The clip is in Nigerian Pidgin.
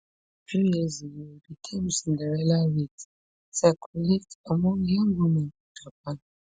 few years ago di term cinderella weight circulate among young women for japan